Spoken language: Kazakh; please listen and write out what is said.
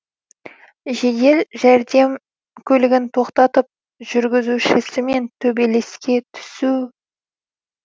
жедел жәрдем көлігін тоқтатып жүргізушісімен төбелеске түсу